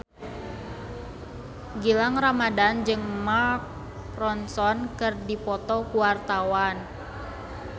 Gilang Ramadan jeung Mark Ronson keur dipoto ku wartawan